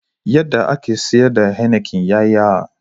Yadda ake siyar da Heineken ya yi yawa.